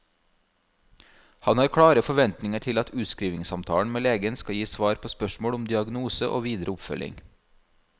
Han har klare forventninger til at utskrivningssamtalen med legen skal gi svar på spørsmål om diagnose og videre oppfølging.